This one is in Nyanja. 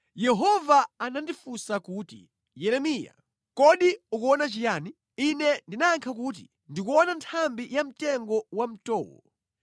Yehova anandifunsa kuti, “Yeremiya, kodi ukuona chiyani?” Ine ndinayankha kuti, “Ndikuona nthambi ya mtengo wa mtowo.”